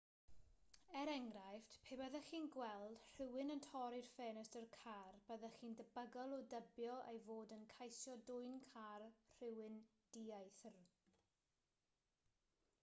er enghraifft pe byddech chi'n gweld rhywun yn torri ffenestr car byddech chi'n debygol o dybio ei fod yn ceisio dwyn car rhywun dieithr